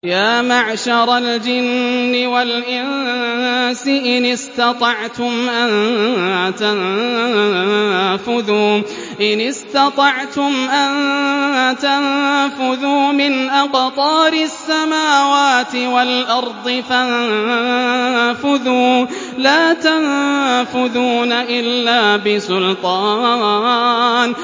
يَا مَعْشَرَ الْجِنِّ وَالْإِنسِ إِنِ اسْتَطَعْتُمْ أَن تَنفُذُوا مِنْ أَقْطَارِ السَّمَاوَاتِ وَالْأَرْضِ فَانفُذُوا ۚ لَا تَنفُذُونَ إِلَّا بِسُلْطَانٍ